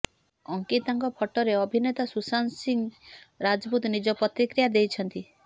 ଅଙ୍କିତାଙ୍କ ଫଟୋରେ ଅଭିନେତା ସୁଶାନ୍ତ ସିଂ ରାଜପୁତ ନିଜ ପ୍ରତିକ୍ରିୟା ଦେଇଛନ୍ତି